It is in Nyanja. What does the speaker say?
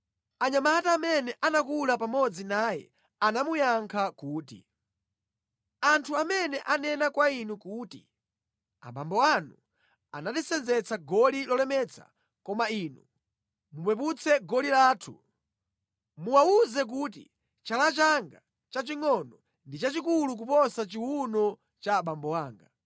Anyamata amene anakula pamodzi naye anamuyankha kuti, “Anthu amene anena kwa inu kuti, ‘Abambo anu anatisenzetsa goli lolemetsa koma inu mupeputse goli lathu,’ muwawuze kuti, ‘Chala changa chachingʼono ndi chachikulu kuposa chiwuno cha abambo anga.